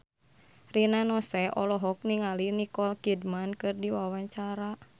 Rina Nose olohok ningali Nicole Kidman keur diwawancara